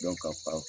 ka